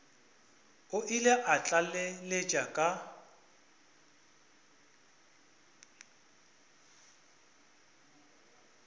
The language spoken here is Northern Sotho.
o ile a tlaleletša ka